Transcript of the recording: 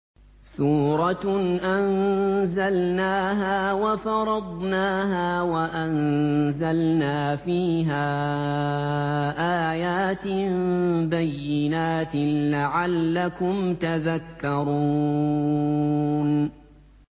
سُورَةٌ أَنزَلْنَاهَا وَفَرَضْنَاهَا وَأَنزَلْنَا فِيهَا آيَاتٍ بَيِّنَاتٍ لَّعَلَّكُمْ تَذَكَّرُونَ